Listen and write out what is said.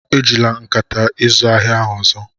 Ejila nkata izu ahịa ahụ ọzọ!